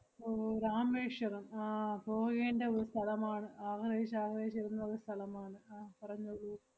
ഓ രാമേശ്വരം ആഹ് പോകേണ്ട ഒരു സ്ഥലമാണ് ആഗ്രഹിച്ച് ആഗ്രഹിച്ചിരുന്നൊരു സ്ഥലമാണ്. അഹ് പറഞ്ഞോളൂ.